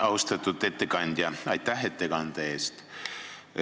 Austatud ettekandja, aitäh ettekande eest!